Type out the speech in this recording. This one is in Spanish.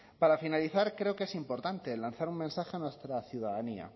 para finalizar creo que es importante lanzar un mensaje a nuestra ciudadanía